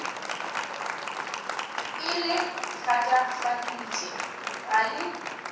e le thatafaditše ga le